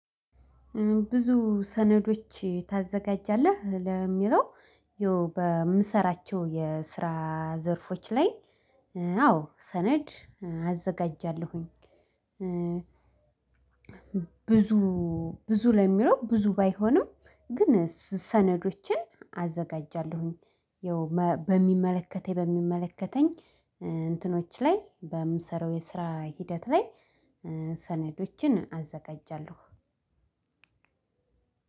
ብዙ ሰነዶች ታዘጋጃለህ ለሚለው? ያው በምሰራቸው የስራ ዘርፎች ላይ አዎ ሰነድ አዘጋጃለሁኝ። ብዙ ብዙ ለሚለው ብዙ ባይሆንም ግን ሰነዶችን አዘጋጃለሁኝ። ያው በሚመለከተኝ በሚመለከተኝ እንትኖች ላይ በምሰራው የስራ ሂደት ላይ። ሰነዶችን አዘጋጃለሁ።